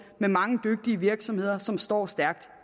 med mange dygtige virksomheder som står stærkt